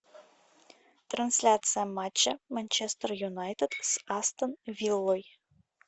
трансляция матча манчестер юнайтед с астон виллой